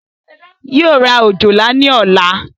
Yóò ra òjòlá ní ọ̀la